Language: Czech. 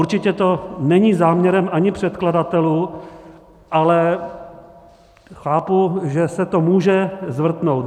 Určitě to není záměrem ani předkladatelů, ale chápu, že se to může zvrtnout.